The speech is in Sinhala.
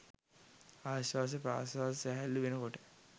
ආශ්වාස ප්‍රශ්වාස සැහැල්ලු වෙන කොට